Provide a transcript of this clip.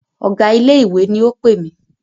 Ọ̀gá ilé ìwé ni o pè mí.